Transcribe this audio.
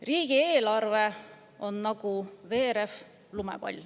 Riigieelarve on nagu veerev lumepall.